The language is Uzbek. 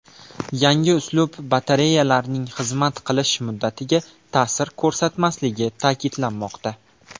Yangi uslub batareyalarning xizmat qilish muddatiga ta’sir ko‘rsatmasligi ta’kidlanmoqda.